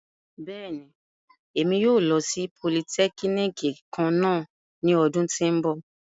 Bẹ́ẹ̀ni, Emi yóò lo si polìtẹkínikì kanna ni ọdun ti n bọ.